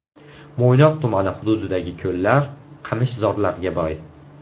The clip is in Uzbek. Mo‘ynoq tumani hududidagi ko‘llar qamishzorlarga boy.